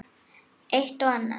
Eitt og annað.